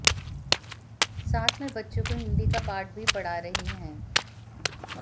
साथ में बच्चों को हिंदी का पाठ भी पढ़ा रही हैं